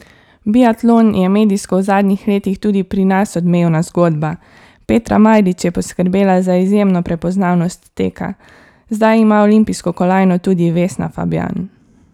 Biatlon je medijsko v zadnjih letih tudi pri nas odmevna zgodba, Petra Majdič je poskrbela za izjemno prepoznavnost teka, zdaj ima olimpijsko kolajno tudi Vesna Fabjan.